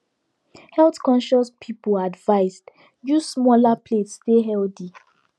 health conscious people advised use smaller plates stay healthy